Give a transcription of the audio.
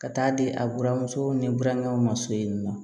Ka taa di a buramuso ni burankɛw ma so in na